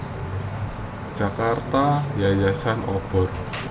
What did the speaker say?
Jakarta Yayasan Obor